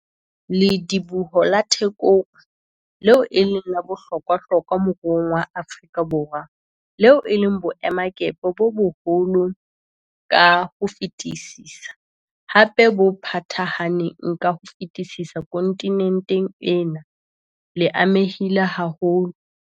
Lediboho la Thekong, leo e leng la bohlokwahlokwa moruong wa Afrika Borwa, leo e leng boemakepe bo boholo ka ho fetisisa, hape bo phathahaneng ka ho fetisisa kontinenteng ena, le amehile haholo.